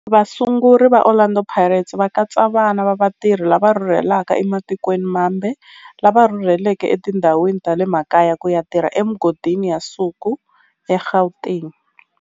Vasunguri va Orlando Pirates va katsa vana va vatirhi lava rhurhelaka ematikweni mambe lava rhurheleke etindhawini ta le makaya ku ya tirha emigodini ya nsuku eGauteng.